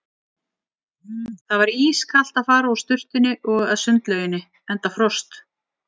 Það var ískalt að fara úr sturtunni og að sundlauginni enda frost.